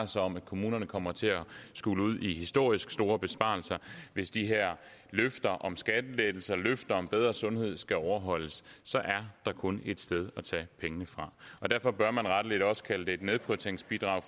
sig om at kommunerne kommer til at skulle ud i historisk store besparelser hvis de her løfter om skattelettelser og løfter om bedre sundhed skal overholdes så er der kun et sted at tage pengene fra derfor bør man rettelig også kalde det et nedprioriteringsbidrag